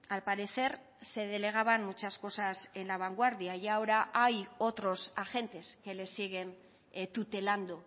al parecer se delegaban muchas cosas en la vanguardia y ahora hay otros agentes que les siguen tutelando